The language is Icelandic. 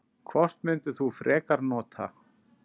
Hvort myndir þú frekar nota?